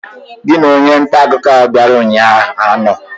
Gị na onye nta akụkọ bịara ụnyaahụ anọ?